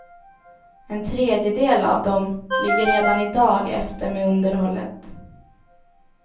En tredjedel av dem ligger redan i dag efter med underhållet.